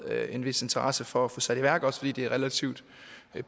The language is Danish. en vis interesse for at få sat i værk også fordi det er relativt